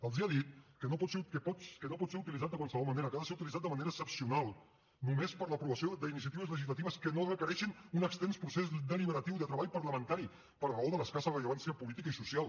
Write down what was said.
els ha dit que no pot ser utilitzat de qualsevol manera que ha de ser utilitzat de manera excepcional només per a l’aprovació d’iniciatives legislatives que no requereixin un extens procés deliberatiu de treball parlamentari per raó de l’escassa rellevància política i social